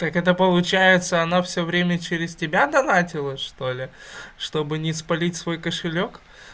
так это получается она всё время через тебя донатилла что ли чтобы не спалить свой кошелёк